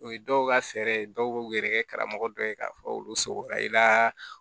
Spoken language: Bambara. O ye dɔw ka fɛɛrɛ dɔw b'u yɛrɛkɛ karamɔgɔ dɔ ye k'a fɔ olu sogora i la